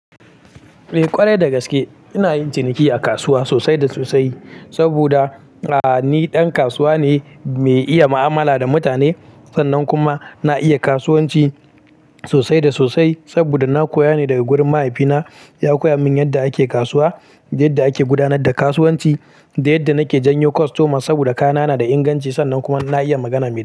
Eh ƙwarai dagaske ina yin ciniki a kasuwa sosai da sosai saboda A ni ɗan kasuwa ne mai iya ma'amala da mutane, sannan kuma na iya kasuwanci sosai da sosai. Saboda na koya ne daga gurin mahaifina ya koya min yadda ake kasuwa, da yadda ake gudanar da kasuwanci Da yadda nake janyo kostoma saboda kayana na da inganci sannan kuma na iya magana mai kyau.